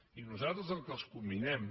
i nosaltres al que els comminem